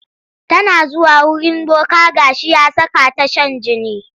Tana zuwa wurin boka ga shi ya saka ta shan jini.